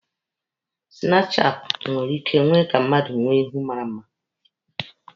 Sinapụ chaati nwere ike ime ka mmadụ nwee ihu mara mma.